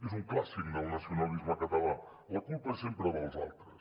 és un clàssic del nacionalisme català la culpa és sempre dels altres